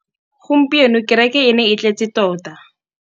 Gompieno kêrêkê e ne e tletse tota.